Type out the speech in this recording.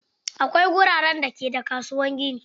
Akwai wuraren da ke da kasuwar kayan gini.